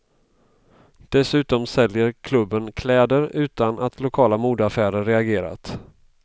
Dessutom säljer klubben kläder, utan att lokala modeaffärer reagerat.